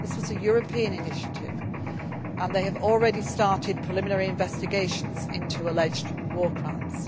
Criminal Court. This was a European initiative and they have already started preliminary investigations into alleged